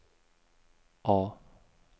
A